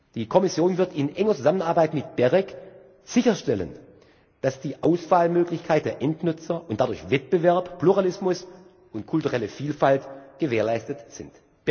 Die Kommission wird in enger Zusammenarbeit mit BEREC sicherstellen, dass die Auswahlmöglichkeit der Endnutzer und dadurch Wettbewerb, Pluralismus und kulturelle Vielfalt gewährleistet sind.